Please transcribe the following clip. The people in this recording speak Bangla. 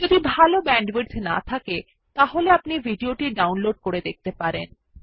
যদি ভাল ব্যান্ডউইডথ না থাকে তাহলে আপনি ভিডিও টি ডাউনলোড করে দেখতে পারেন